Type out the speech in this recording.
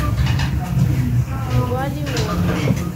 гвалиор